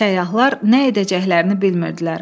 Səyyahlar nə edəcəklərini bilmirdilər.